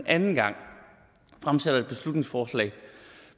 anden gang fremsætter et beslutningsforslag